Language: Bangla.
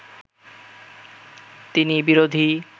তিনি বিরোধী